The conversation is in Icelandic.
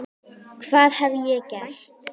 hvað hef ég gert?